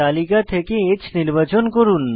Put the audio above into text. তালিকা থেকে H নির্বাচন করুন